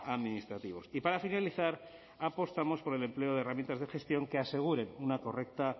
administrativos y para finalizar apostamos por el empleo de herramientas de gestión que aseguren una correcta